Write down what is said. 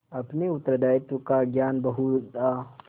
अपने उत्तरदायित्व का ज्ञान बहुधा